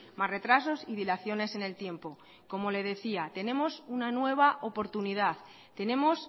más retrasos y dilaciones en el tiempo como le decía tenemos una nueva oportunidad tenemos